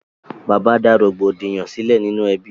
Bàbá dá rògbòdìyàn sílẹ̀ nínú ẹbí.